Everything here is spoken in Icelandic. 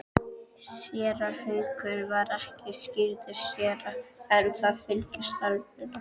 Séra Haukur var ekki skírður séra en það fylgir starfinu.